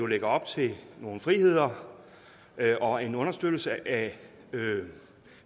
lægger op til nogle friheder og en understøttelse af